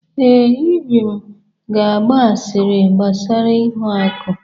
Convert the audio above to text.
Ee, Ibim ga-agba asịrị gbasara ihuaku.